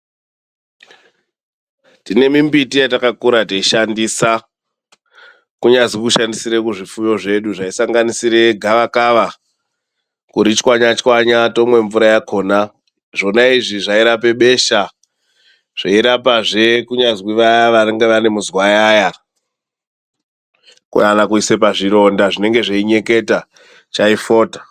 Tine mimbiti yatakakura teishandisa kunyazi kushandisire zvifuyo zvedu zvaisanganisire gavakava kuri tswanya tswanya, tomwa mvura yakona. Zvona zvona izvi zvairapa besha, zvorapazve vaya vanenge vane muzwayaya kana kuisa pazvironda zvinenge zvichinyeketa chaifota.